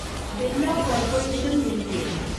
Birla corporation limited